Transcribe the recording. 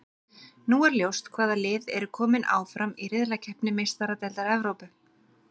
Nú er ljóst hvaða lið eru kominn áfram í riðlakeppni Meistaradeildar Evrópu.